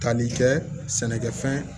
Tali kɛ sɛnɛkɛfɛn